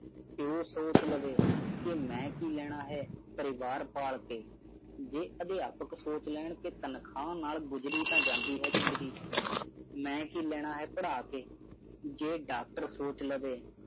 ਪਿਉ ਸੋਚ ਲਵੇ ਮੈਂ ਕੀ ਲੈਣਾ ਹੈ ਪਰਿਵਾਰ ਪਾਲ ਕੇ ਜੇ ਅਧਿਆਪਕ ਸੋਚ ਲੈਣਾ ਕੇ ਤਨਖਾਹ ਨਾਲ ਗੁਜਰੀ ਤੇ ਜਾਂਦੀ ਹੈ ਜ਼ਿੰਦਗੀ ਮੈਂ ਕੀ ਲੈਣਾ ਹੈ ਪੜਾ ਕੇ ਜੇ doctor ਸੋਚ ਲਵੋ